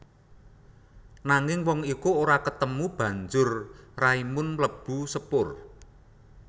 Nanging wong iku ora ketemu banjur Raimund mlebu sepur